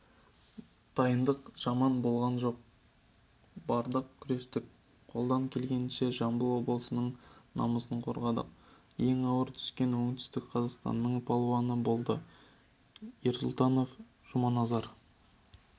дайындық жаман болған жоқ бардық күрестік қолдан келгенше жамбыл облысының намысын қорғадық ең ауыр түскен оңтүстік қазақстанның палуаны болды ерсұлтанов жұманазар